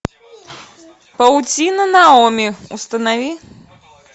паутина наоми установи